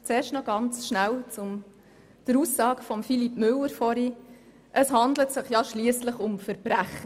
Zuerst möchte ich noch etwas zur Aussage von Philippe Müller von vorhin sagen, es handle sich ja schliesslich um Verbrecher.